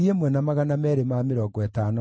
na njiaro cia Adonikamu ciarĩ 667